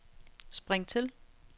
spring til